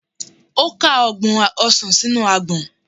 O ka ọgbọn osàn sinu agbọn..